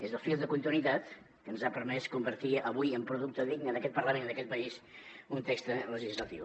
és el fil de continuïtat que ens ha permès convertir avui en producte digne d’aquest parlament i d’aquest país un text legislatiu